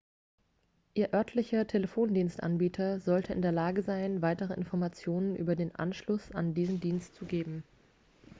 ihr örtlicher telefondienstanbieter sollte in der lage sein weitere informationen über den anschluss an diesen dienst zu geben